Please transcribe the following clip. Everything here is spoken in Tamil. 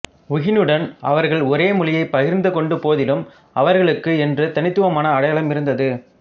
உஹுனுவுடன் அவர்கள் ஒரே மொழியை பகிர்ந்து கொண்ட போதிலும் அவர்களுக்கு என்று தனித்துவமான அடையாளம் இருந்தது